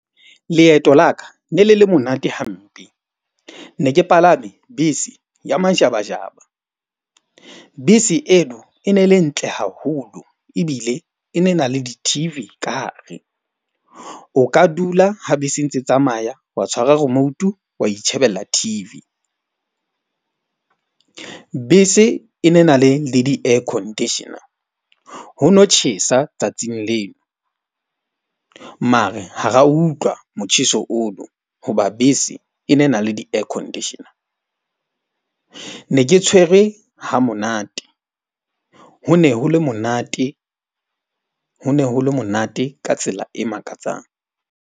Leeto la ka ne le le monate hampe. Ne ke palame bese ya majabajaba. Bese eno e ne le ntle haholo ebile e ne na le di-T_V ka hare. O ka dula ha bese e ntse tsamaya wa tshwara remote-u wa itjhebella T_V. Bese e ne na le le di-air conditioner. Ho no tjhesa tsatsing leno mare ha ra utlwa motjheso ono. Hoba bese e ne e na le di-air conditioner. Ne ke tshwere ha monate. Ho ne ho le monate, ho ne ho le monate ka tsela e makatsang.